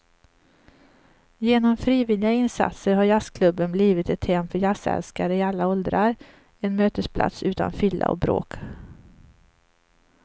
Genom frivilliga insatser har jazzklubben blivit ett hem för jazzälskare i alla åldrar, en mötesplats utan fylla och bråk.